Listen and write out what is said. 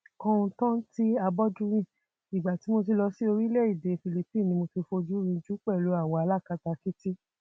kọńtántí abọdúnrin ìgbà tí mo lọ sí orílẹèdè philipine ní tí mo fojú rìnjú pẹlú àwọn alákatakítí